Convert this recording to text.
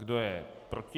Kdo je proti?